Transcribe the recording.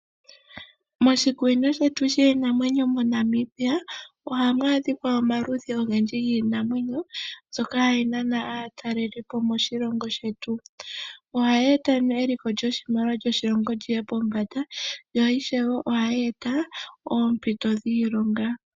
Moshikunino shetu shiinamwenyo moNamibia ohamua adhika omaludhi ogendji giinamwneyo mbyoka hayi nana aatalelipo moshilongo shetu, ohayi eta eliko lyoshimaliwa sho shilongo shetu lyiye pombanda na ishewe ohayi ete oompito dhiilonga.